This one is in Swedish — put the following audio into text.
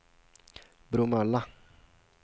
Bromölla